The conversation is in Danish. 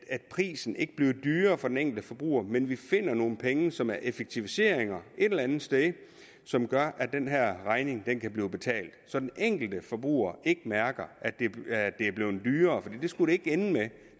at prisen ikke bliver dyrere for den enkelte forbruger men at vi finder nogle penge som er effektiviseringer et eller andet sted som gør at den her regning kan blive betalt så den enkelte forbruger ikke mærker at det er blevet dyrere for det skulle det ikke ende med det